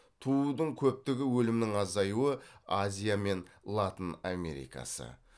туудың көптігі өлімнің азаюы